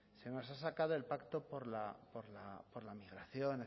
se nos ha sacado el pacto por la migración